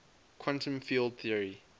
quantum field theory